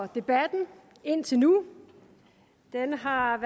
debatten indtil nu den har